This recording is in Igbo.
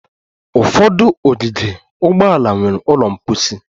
Ụfọdụ ogige ụgbọala nwere ụlọ mposi